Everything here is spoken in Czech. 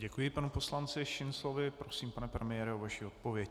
Děkuji panu poslanci Šinclovi, prosím, pane premiére, o vaši odpověď.